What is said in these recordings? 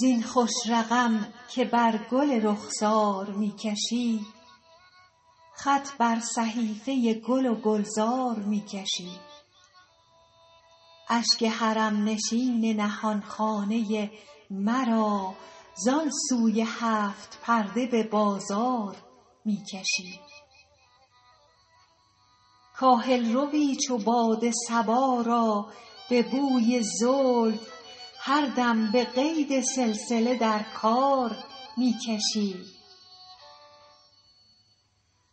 زین خوش رقم که بر گل رخسار می کشی خط بر صحیفه گل و گلزار می کشی اشک حرم نشین نهان خانه مرا زان سوی هفت پرده به بازار می کشی کاهل روی چو باد صبا را به بوی زلف هر دم به قید سلسله در کار می کشی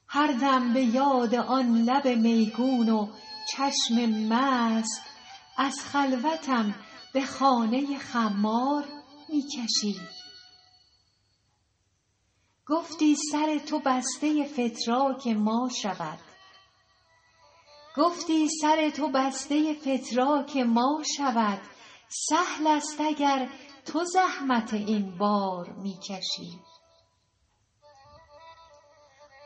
هر دم به یاد آن لب میگون و چشم مست از خلوتم به خانه خمار می کشی گفتی سر تو بسته فتراک ما شود سهل است اگر تو زحمت این بار می کشی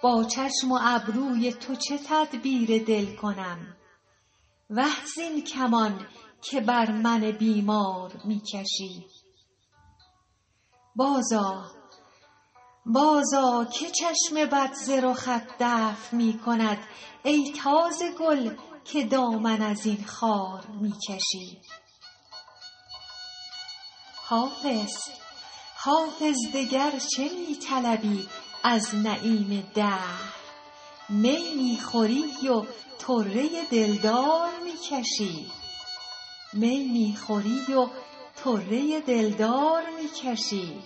با چشم و ابروی تو چه تدبیر دل کنم وه زین کمان که بر من بیمار می کشی بازآ که چشم بد ز رخت دفع می کند ای تازه گل که دامن از این خار می کشی حافظ دگر چه می طلبی از نعیم دهر می می خوری و طره دلدار می کشی